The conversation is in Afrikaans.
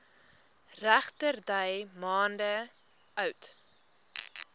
regterdy maande oud